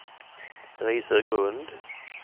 Risögrund